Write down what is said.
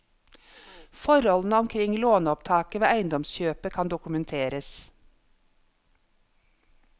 Forholdene omkring lånopptaket ved eiendomskjøpet kan dokumenteres.